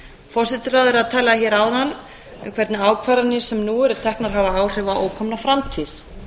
forsætisráðherra talaði hér áðan um hvernig ákvarðanir sem nú eru teknar hafa áhrif á ókomna framtíð